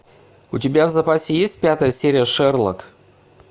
у тебя в запасе есть пятая серия шерлок